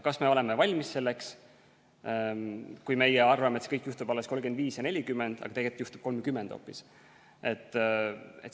Kas me oleme selleks valmis, kui meie arvates võib see kõik juhtuda alles 2035 või 2040, aga tegelikult juhtub hoopis 2030?